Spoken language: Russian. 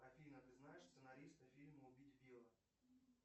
афина ты знаешь сценариста фильма убить билла